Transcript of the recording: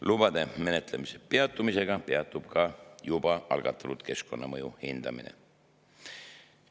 Lubade menetlemise peatumisega peatub ka juba algatatud keskkonnamõju hindamine.